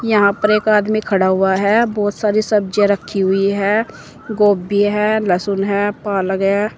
यहां पर एक आदमी खड़ा हुआ है। बोहोत सारी सब्जियाँ रखी हुई हैं। गोभी है लहसुन है पालक है।